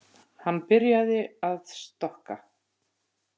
Hann byrjaði að stokka.